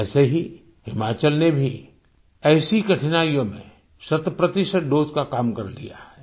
वैसे ही हिमाचल ने भी ऐसी कठिनाइयों में शतप्रतिशत दोसे का काम कर लिया है